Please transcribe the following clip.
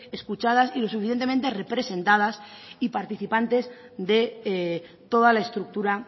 escuchadas y lo suficientemente representadas y participantes de toda la estructura